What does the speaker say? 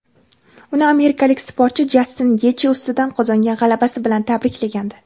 uni amerikalik sportchi Jastin Getji ustidan qozongan g‘alabasi bilan tabriklagandi.